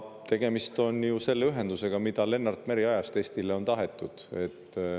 Tegemist on ju ühendusega, mida Lennart Meri ajast on Eestile tahetud.